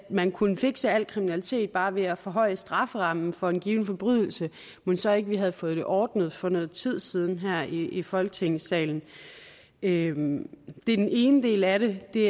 man kunne fikse al kriminalitet bare ved at forhøje strafferammen for en given forbrydelse mon så ikke vi havde fået det ordnet for noget tid siden her i i folketingssalen det er den ene del af det det